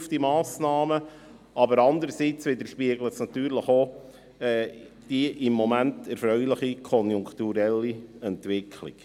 Auf der anderen Seite widerspiegelt es natürlich auch die im Moment erfreuliche konjunkturelle Entwicklung.